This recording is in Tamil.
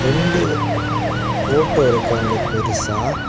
ரெண்டு போட்டோ இருக்கு அங்க பெருசா.